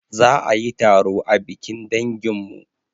Za ayi taro a bikin danginmu